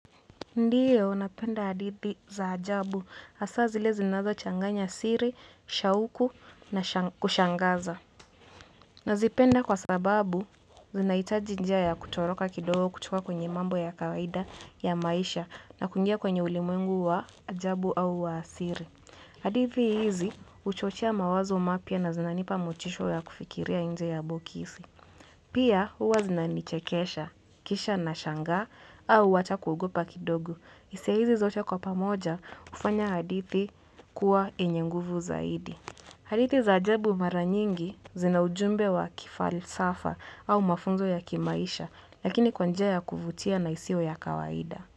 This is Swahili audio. Ndiyo, napenda hadithi za ajabu. Hasa zile zinazochanganya siri, shauku na kushangaza. Nazipenda kwa sababu, zinahitaji njia ya kutoroka kidogo kutoka kwenye mambo ya kawaida ya maisha na kungia kwenye ulimwengu wa ajabu au wa asili. Hadithi hizi, huchochea mawazo mapya na zinanipa motisha ya kufikiria nje ya boksi. Pia huwa zinanichekesha, kisha na shangaa, au hata kugopa kidogo. Hisia hizi zote kwa pamoja, hufanya hadithi kuwa enye nguvu zaidi. Hadithi za ajabu maranyingi zina ujumbe wa kifalsafa au mafunzo ya kimaisha, lakini kwa njia ya kuvutia na isiyo ya kawaida.